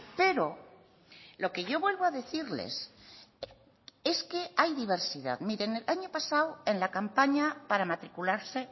pero lo que yo vuelvo a decirles es que hay diversidad miren el año pasado en la campaña para matricularse